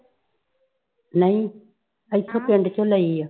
ਨਈ ਇਥੋਂ ਪੇੰਡ ਚੋ ਲਈ ਐ